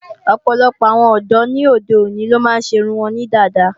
Ọ̀pọ̀lọpọ̀ àwọn ọ̀dọ́ ni óde òní ló máa ń ṣe irun wọn ní dada